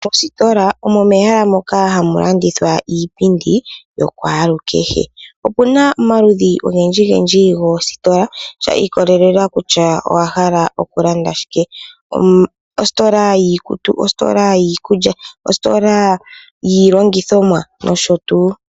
Mositola omo mehala moka hamulandithwa iipindi yo kwalukehe, opuna omaludhi ongendji ngendji gositola sha ikolelela kutya owa hala okulanda shike, ositola yiikutu, ositola yiikulya, ositola yilongithomwa nosho tuu.